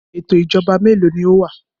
Ètò ìṣèjọba mélòó ni ó wà?